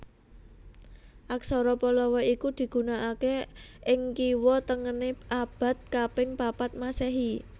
Aksara Pallawa iki digunakaké ing kiwa tengené abad kaping papat Masèhi